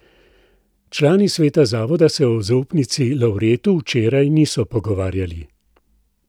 Člani sveta zavoda se o zaupnici Lavretu včeraj niso pogovarjali.